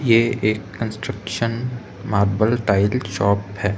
ये एक construction marble tiles shop है।